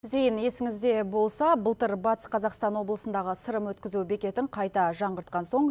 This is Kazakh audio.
зейін есіңізде болса былтыр батыс қазақстан облысындағы сырым өткізу бекетін қайта жаңғыртқан соң